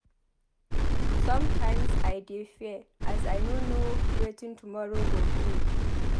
Sometimes I dey fear as I no know wetin tomorrow go bring.